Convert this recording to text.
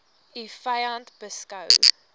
u vyand beskou